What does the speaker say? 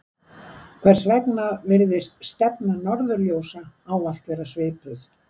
Hvers vegna virðist stefna norðurljósa ávallt vera svipuð?